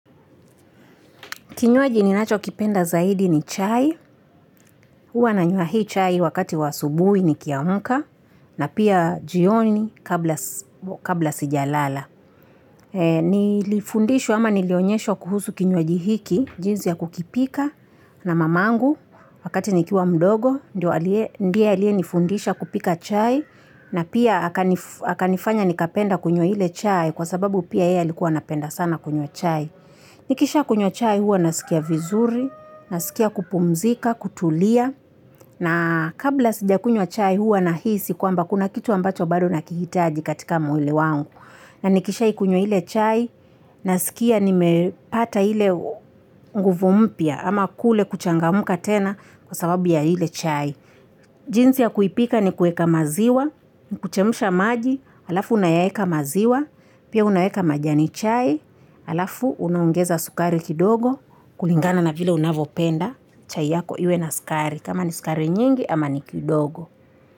Kinywaji ninachokipenda zaidi ni chai, huwa nanywa hii chai wakati wa asubuhi nikiamka na pia jioni kabla sijalala. Nilifundishwa ama nilionyeshwa kuhusu kinywaji hiki, jinsi ya kukipika na mamangu wakati nikiwa mdogo, ndiye aliyenifundisha kupika chai na pia akanifanya nikapenda kunywa ile chai kwa sababu pia yeye alikuwa anapenda sana kunywa chai. Nikishakunywa chai huwa nasikia vizuri, nasikia kupumzika, kutulia, na kabla sijakunywa chai huwa nahisi kwamba kuna kitu ambacho bado nakihitaji katika mwili wangu. Na nikishaikunywa ile chai nasikia nimepata ile nguvu mpya ama kule kuchangamka tena kwa sababu ya ile chai. Jinsi ya kuipika ni kuweka maziwa, ni kuchemsha maji, alafu unayaweka maziwa, pia unaweka majani chai, alafu unaongeza sukari kidogo, kulingana na vile unavopenda chai yako iwe na sukari, kama ni sukari nyingi ama ni kidogo.